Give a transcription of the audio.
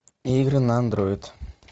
игры на андроид